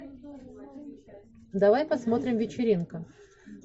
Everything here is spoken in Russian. давай посмотрим вечеринка